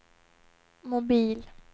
mobil